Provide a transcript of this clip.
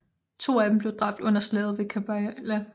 To af dem blev dræbt under Slaget ved Karbala